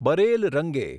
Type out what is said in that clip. barrel રંગે